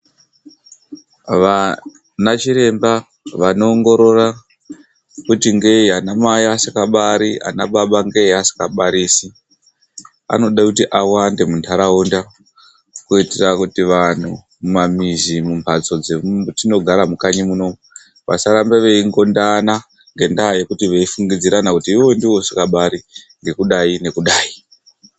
Vanachiremba vanoongorora kuti ngeyi anamai vasingabari ana baba ngeyi vasingabarisi, vanoda kuti vawande muntharaunda. Kuitira kuti vanthu mumamizi mumphatso dzetinogara mukanyi munomu, vasaramba veingondana ngendaa yekuti veifungidzirana kuti iwewe ndiwe usingabari ngekudayi nekudayi.